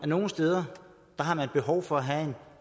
nogle steder er behov for at have en